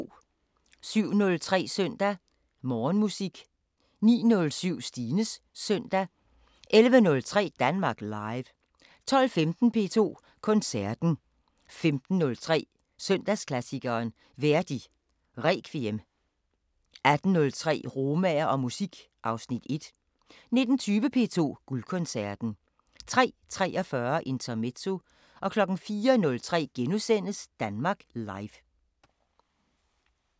07:03: Søndag Morgenmusik 09:07: Stines Søndag 11:03: Danmark Live 12:15: P2 Koncerten 15:03: Søndagsklassikeren – Verdi Requiem 18:03: Romaer og musik (Afs. 1) 19:20: P2 Guldkoncerten 03:43: Intermezzo 04:03: Danmark Live *